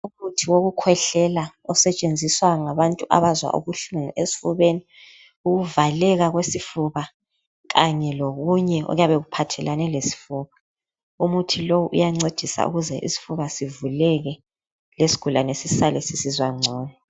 Umuthi wokukhwehlela osetshenziswa ngabantu abezwa ubuhlungu esifubeni, ukuvaleka kwesifuba kanye lokunye okuyabe iuohathelane lesifuba. Umuthi lowu uyancedisa ukuthi isifuba sivuleke lesigulane sisale sisizwa ngcono.